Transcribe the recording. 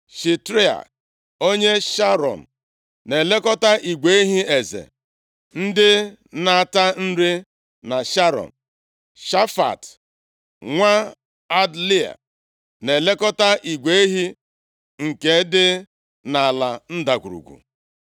Shitrai onye Sharọn na-elekọta igwe ehi eze ndị na-ata nri na Sharọn. Shafat nwa Adlai na-elekọta igwe ehi ndị nke dị nʼala ndagwurugwu.